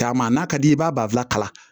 Taama n'a ka d'i ye i b'a b'a bila kala